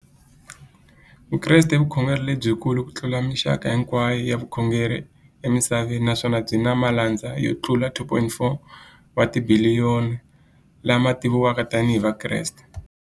Vukreste i vukhongeri lebyi kulu kutlula mixaka hinkwayo ya vukhongeri emisaveni, naswona byi na malandza yo tlula 2.4 wa tibiliyoni, la ma tiviwaka tani hi Vakreste.